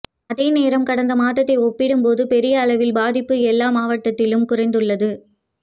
அதேநேரம் கடந்த மாதத்தை ஒப்பிடும் போது பெரிய அளவில் பாதிப்பு எல்லா மாவட்டத்திலும் குறைந்துள்ளது